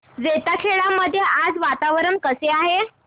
जैताखेडा मध्ये आज वातावरण कसे आहे